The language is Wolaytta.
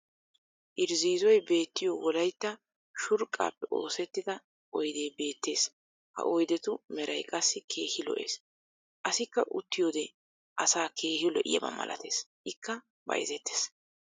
irzziizzoy beettiyo wolaytta shurqaappe oosettida oydee beetees. ha oydetu meray qassi keehi lo'ees. asikka uttiyode asaa keehi lo'iyaba malatees. ikka bayzzetees.